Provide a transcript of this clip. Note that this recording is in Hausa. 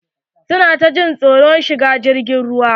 Su na ta jin tsoron shigar jirgin ruwa.